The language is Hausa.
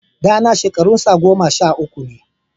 Ɗana shekarunsa goma sha uku ne